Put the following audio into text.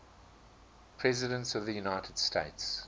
presidents of the united states